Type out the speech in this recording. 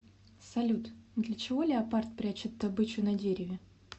салют для чего леопард прячет добычу на дереве